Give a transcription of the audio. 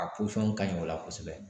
A pɔsɔn ka ɲi o la kosɛbɛ